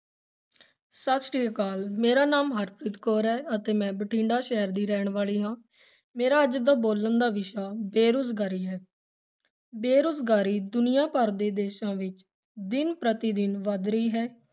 ਸਤਿ ਸ੍ਰੀ ਅਕਾਲ ਮੇਰਾ ਨਾਮ ਹਰਪ੍ਰੀਤ ਕੌਰ ਹੈ ਅਤੇ ਮੈਂ ਬਠਿੰਡਾ ਸ਼ਹਿਰ ਦੀ ਰਹਿਣ ਵਾਲੀ ਹਾਂ, ਮੇਰਾ ਅੱਜ ਦਾ ਬੋਲਣ ਦਾ ਵਿਸ਼ਾ ਬੇਰੁਜ਼ਗਾਰੀ ਹੈ ਬੇਰੁਜ਼ਗਾਰੀ ਦੁਨੀਆਂ ਭਰ ਦੇ ਦੇਸਾਂ ਵਿੱਚ ਦਿਨ ਪ੍ਰਤੀ ਦਿਨ ਵੱਧ ਰਹੀ ਹੈ।